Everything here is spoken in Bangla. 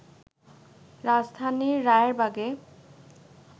রাজধানীর রায়েরবাগে